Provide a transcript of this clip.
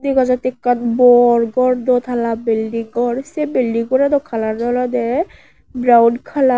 dega jattey ekkan bor gor dwtala belding gor sey belding gor ano kalaran olodey braun kalar.